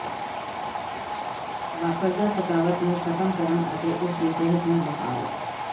ਵਾਪਰਦਾ ਥਕਾਵਟ ਨੂੰ ਖਤਮ ਕਰਨ ਅਤੇ ਉਸ ਦੀ ਸਿਹਤ ਨੂੰ ਬਹਾਲ